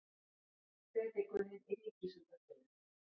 Predikunin í Ríkisútvarpinu